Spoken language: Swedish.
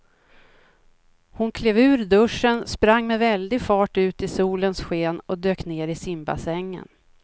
Hon klev ur duschen, sprang med väldig fart ut i solens sken och dök ner i simbassängen.